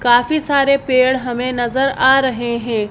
काफी सारे पेड़ हमें नजर आ रहे हैं।